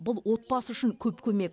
бұл отбасы үшін көп көмек